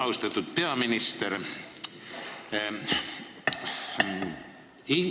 Austatud peaminister!